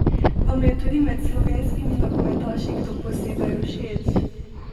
Vam je tudi med slovenskimi nogometaši kdo posebej všeč?